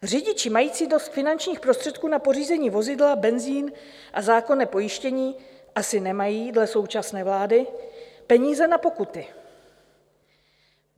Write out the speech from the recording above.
Řidiči mající dost finančních prostředků na pořízení vozidla, benzin a zákonné pojištění asi nemají dle současné vlády peníze na pokuty.